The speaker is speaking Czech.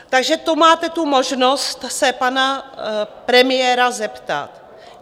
Takže to máte tu možnost se pana premiéra zeptat.